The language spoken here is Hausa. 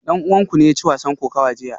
Dan uwanku ne ya ci wasan kokawa jiya?